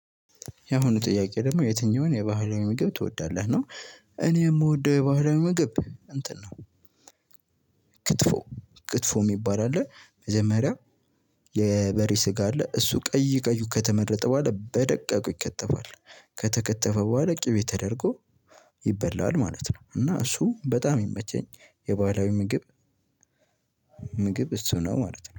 ያሁኑ ጥያቄ ደግሞ የትኛውን የባህላዊ ምግብ ትወዳለህ ነው? እኔ የምወደው የባህላዊ ምግብ እንትን ነው። ክትፎ ክትፎ የሚባል አለ መጀመሪያ። የበሬ ስጋ አለ እሱ ቀይ ቀዩ ከተመረጠ በኋላ በደቀቁ ይከተፋል ከተከተፈ በኋላ ቅቤ ተደርጎ ይበላ ማለት ነው። እና እሱ በጣም የሚመቸኝ የባህላዊ ምግብ ምግብ እሱ ነው ማለት ነው